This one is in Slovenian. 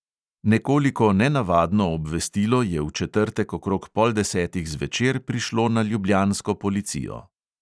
Nekoliko nenavadno obvestilo je v četrtek okrog pol desetih zvečer prišlo na ljubljansko policijo.